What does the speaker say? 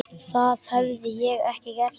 Það hefði ég ekki gert.